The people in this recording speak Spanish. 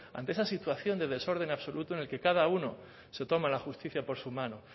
ante esa situación de desorden absoluto en el que cada uno se toma la justicia por su mano